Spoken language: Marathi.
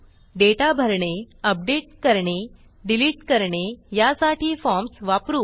डेटा भरणे अपडेट करणे डिलिट करणे यासाठी फॉर्म्स वापरू